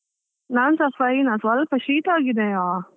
ನಾನ್ಸ fine , ಸ್ವಲ್ಪ ಶೀತ ಆಗಿದೆಯಾ.